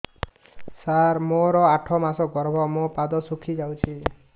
ସାର ମୋର ଆଠ ମାସ ଗର୍ଭ ମୋ ପାଦ ଫୁଲିଯାଉଛି